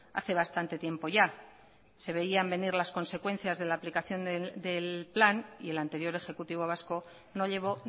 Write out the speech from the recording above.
hace bastante tiempo ya se veían venir las consecuencias de la aplicación del plan y el anterior ejecutivo vasco no llevó